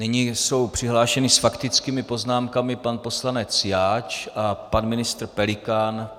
Nyní jsou přihlášeni s faktickými poznámkami - pan poslanec Jáč a pan ministr Pelikán.